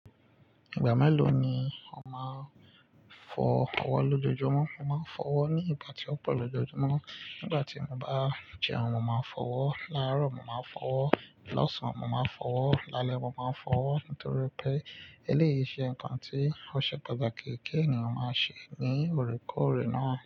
Ìgbà mélò ni o máa ń fọ ọwọ́ lójoojúmọ́? Mo máa ń fọ ọwọ́ ní ìgbà tí ó pọ̀ lójoojúmọ́. Nígbà tí mo bá jẹun, mo máa ń fọ́ ọwọ́, láàárọ̀ mo máa ń fọ́ ọwọ́, lọ́sàn mo máa ń fọ́ ọwọ́, lálẹ́ mo máa ń fọ́ ọwọ́ nítorí pé eléyìí ṣe nǹkan tí ọṣẹ pataki ki ènìyàn máa ṣe ní òkèèrè náà.